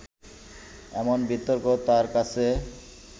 এমন বিতর্ক তার কাছে